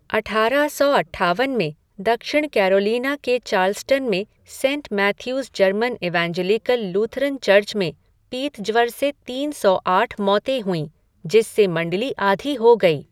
अठारह सौ अट्ठावन में, दक्षिण कैरोलिना के चार्ल्सटन में Saint Matthew's German Evangelical Lutheran church में पीतज्वर से तीन सौ आठ मौतें हुईं, जिससे मण्डली आधी हो गई।